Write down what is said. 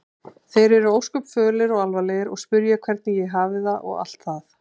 Þeir eru ósköp fölir og alvarlegir og spyrja hvernig ég hafi það og allt það.